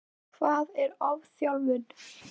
Hvað er ofþjálfun?